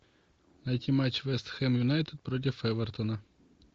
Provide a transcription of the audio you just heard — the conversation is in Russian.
найти матч вест хэм юнайтед против эвертона